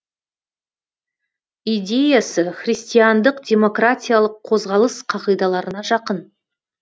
идеясы христиандық демократиялық қозғалыс қағидаларына жақын